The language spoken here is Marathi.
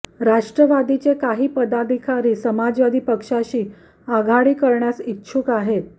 राष्ट्रवादीचे काही पदाधिकारी समाजवादी पक्षाशी आघाडी करण्यास इच्छुक आहेत